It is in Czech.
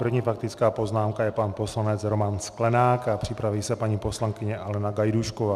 První faktická poznámka je pan poslanec Roman Sklenák a připraví se paní poslankyně Alena Gajdůšková.